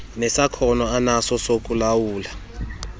nesakhono anaso sokulawula